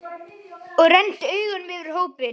Og renndi augunum yfir á hópinn.